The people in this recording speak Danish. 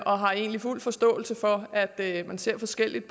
og har egentlig fuld forståelse for at at man ser forskelligt